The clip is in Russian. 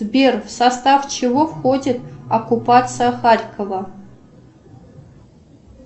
сбер в состав чего входит оккупация харькова